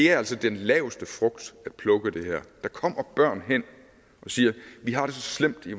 er altså den lavest hængende frugt at plukke der kommer børn hen og siger at de har det så slemt i